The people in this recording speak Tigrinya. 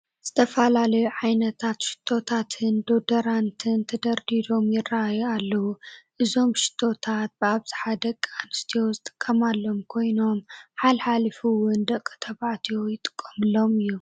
ዝተፈላለዩ ዓይነታት ሽቶታትን ዶደራንትን ተደርዲሮም ይርኣዩ ኣለዉ፡፡ እዚም ሽቶታት ብኣብዝሓ ደቂ ኣንስትዮ ዝጥቀማሎም ኮይኖም ሓሊፉ ሓሊፉ እውን ደቂ ተባዕትዮ ይጥቀሙሎም እዮም፡፡